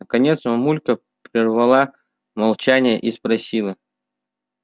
наконец мамулька прервала молчание и спросила